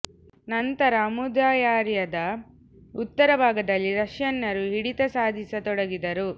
ನಂತರ ಅಮು ದರ್ಯಾದ ಉತ್ತರ ಭಾಗದಲ್ಲಿ ರಷ್ಯನ್ನರು ಹಿಡಿತ ಸಾಧಿಸ ತೊಡಗಿದರು